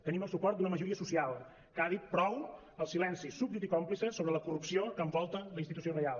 tenim el suport d’una majoria social que ha dit prou al silenci súbdit i còmplice sobre la corrupció que envolta la institució reial